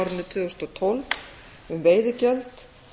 tvö þúsund og tólf um veiðigjöld